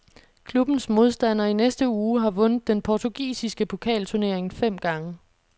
Klubbens modstander i næste uge har vundet den portugisiske pokalturnering fem gange.